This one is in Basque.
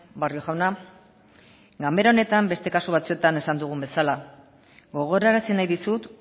barrio jauna ganbara honetan beste kasu batzuetan esan dugun bezala gogorarazi nahi dizut